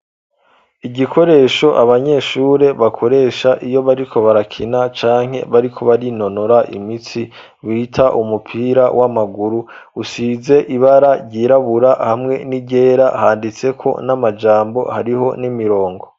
Igikoresho abanyeshure bakoresha iyo bariko barakina canke bariko barinonora imitsi wita umupira w'amaguru usize ibara ryirabura hamwe n'iryera handitse ko n'amajambo hariho n'imirongo.